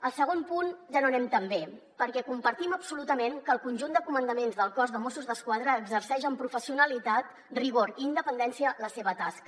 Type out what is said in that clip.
al segon punt ja no anem tan bé perquè compartim absolutament que el conjunt de comandaments del cos de mossos d’esquadra exerceix amb professionalitat rigor i independència la seva tasca